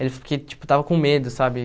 Ele falou que, tipo, estava com medo, sabe?